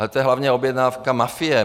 A to je hlavně objednávka mafie.